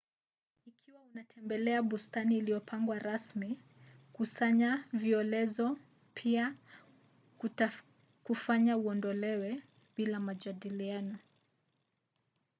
ikiwa unatembelea bustani iliyopangwa rasmi kukusanya violezo” pia kutakufanya uodolewe bila majadiliano